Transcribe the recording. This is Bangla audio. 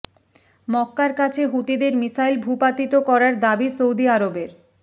মক্কার কাছে হুথিদের মিসাইল ভূপাতিত করার দাবি সৌদি আরবের